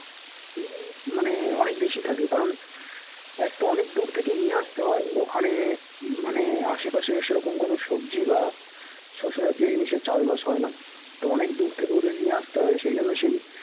মানে অনেক বেশি থাকে কারণ একতো অনেক দূর থেকে নিয়ে আসতে হয় ওখানে মানে আশেপাশে সে রকম কোনও সবজি বা শস্যে জাতীয় জিনিস চাষবাস হয়না তো অনেক দূর থেকে ওদের নিয়ে আসতে হয় সেই জন্য সেই